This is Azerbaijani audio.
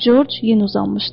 George yenə uzanmışdı.